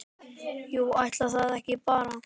Jú, ætli það ekki bara!